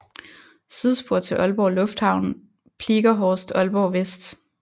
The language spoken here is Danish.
Sidespor til Aalborg Lufthavn Pliegerhorst Aalborg West